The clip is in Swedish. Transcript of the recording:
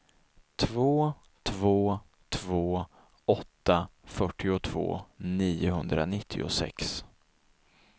två två två åtta fyrtiotvå niohundranittiosex